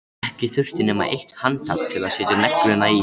Ekki þurfti nema eitt handtak til að setja negluna í.